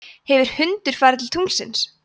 hefur hundur farið til tunglsins